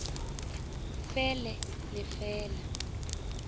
fe le le fe la